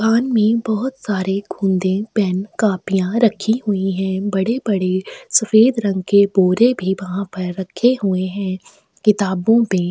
दुकान में बहुत सारे गोंदे पेन कॉपीया रखी हुई है बड़े-बड़े सफ़ेद रंग के बोर भी वहाँ हुआ पर रखे हुए है किताबो में --